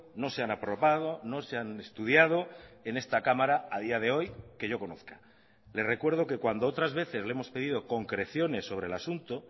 no se han aprobado no se han estudiado en esta cámara a día de hoy que yo conozca le recuerdo que cuando otras veces le hemos pedido concreciones sobre el asunto